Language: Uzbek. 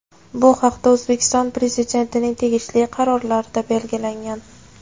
Bu haqda O‘zbekiston Prezidentining tegishli qarorlarida belgilangan.